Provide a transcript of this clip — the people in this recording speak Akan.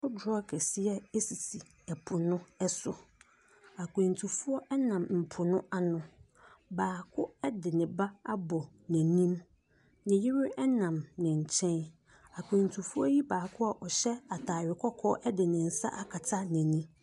Kodoɔ akɛseɛ ɛsisi ɛpo no ɛso. Akwantufoɔ ɛnam ɛpo no ano. Baako ɛde neba abɔ n'anim. Ne yere ɛnam ne nkyɛn. Akwantufoɔ yi baako a ɔhyɛ ataare kɔkɔɔ ɛde ne nsa akata n'ani.